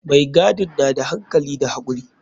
Mai gadin na da hankali da hakuri.